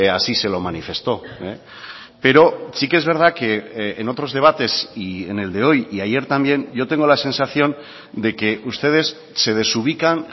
así se lo manifestó pero sí que es verdad que en otros debates y en el de hoy y ayer también yo tengo la sensación de que ustedes se desubican